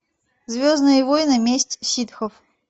звездные войны месть ситхов